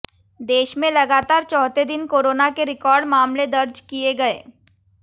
देश में लगातार चौथे दिन कोरोना के रिकॉर्ड मामले दर्ज किए गए